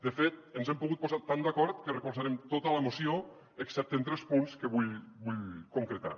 de fet ens hem pogut posat tan d’acord que recolzarem tota la moció excepte en tres punts que vull concretar